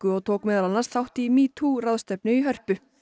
og tók meðal annars þátt í metoo ráðstefnu í Hörpu